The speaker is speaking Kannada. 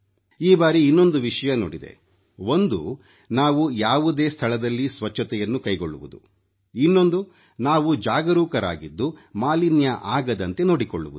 ಈ ಬಾರಿ ಇನ್ನೊಂದು ವಿಷಯ ನೋಡಿದೆ ಒಂದು ನಾವು ಯಾವುದೇ ಸ್ಥಳದಲ್ಲಿ ಸ್ವಚ್ಛತೆಯನ್ನು ಕೈಗೊಳ್ಳುವುದು ಇನ್ನೊಂದು ನಾವು ಜಾಗರೂಕರಾಗಿದ್ದು ಮಾಲಿನ್ಯ ಆಗದಂತೆ ನೋಡಿಕೊಳ್ಳುವುದು